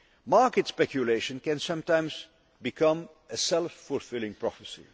Market speculation can sometimes become a self fulfilling prophecy.